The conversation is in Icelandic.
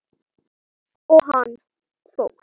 Hvernig fer það fram?